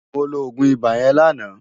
Mó ló ógún ibá yèn láná